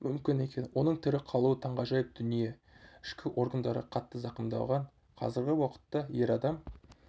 мүмкін екен оның тірі қалуы таңғажайып дүние ішкі органдары қатты зақымдалған қазіргі уақытта ер адам